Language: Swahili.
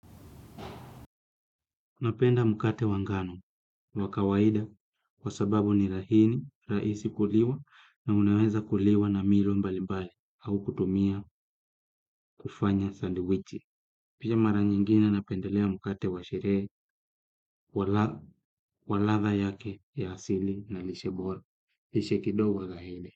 Napenda mkate wa ngano ni wa kawaida kwa sababu ni laini, rahisi kuliwa na unaweza kuliwa na milo mbalimbali au kutumia kufanya sandi wichi. Pia mara nyingine napendelea mkate wa sherehe, wa latha yake ya asili na lishe bora. Lishe kidogo laini.